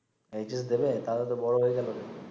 HS দিবে তাইলে তো বড় হয়ে গেল রে